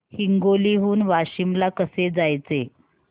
हिंगोली हून वाशीम ला कसे जायचे